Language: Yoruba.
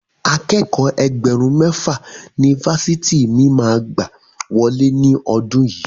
Akẹ́kọ̀ọ́ Ẹgbẹ̀rún mẹ́fà ni Fásitì mi máa gbà wọlé ní ọdún yìí.